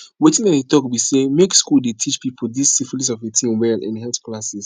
wetin i dey talk be say make school the teache people this syphilis of a thing well in health classes